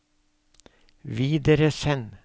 videresend